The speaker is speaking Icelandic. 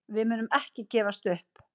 Við munum ekki gefast upp.